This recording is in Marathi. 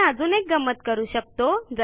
आपण अजून एक गंमत करू शकतो